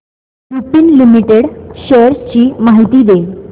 Lupin limited shares ची माहिती दे